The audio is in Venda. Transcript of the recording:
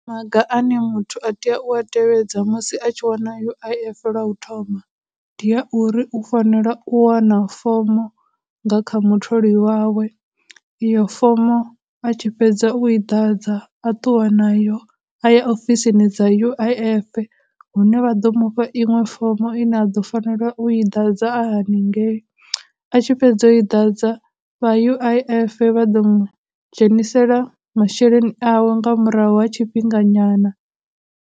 Maga a ne muthu a tea u a tevhedza musi a tshi wana U_I_F lwa u thoma ndi a uri u fanela u wana fomo nga kha mutholi wawe, iyo fomo a tshi fhedza u i ḓadza a ṱuwa nayo a ya ofisini dza U_I_F hune vha ḓo mufha iṅwe fomo ine a ḓo fanela u i ḓadza a haningei, a tshi fhedza u i ḓadza, vha U_I_F vha ḓo mu dzhenisela masheleni awe nga murahu ha tshifhinga nyana.